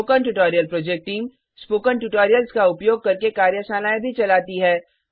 spoken tutorial project team spoken tutorials का उपयोग करके कार्यशालाएँ भी चलाती है